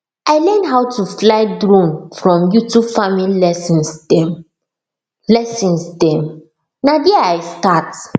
i learn how to fly drone from youtube farming lessons dem lessons dem na there i start